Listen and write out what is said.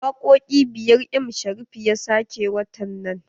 Wakoƙi biyar m Sharif ya sake watan nan.